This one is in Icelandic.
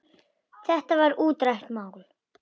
Þetta var útrætt mál.